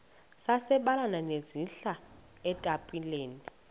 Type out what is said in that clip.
sabelani zenihlal etempileni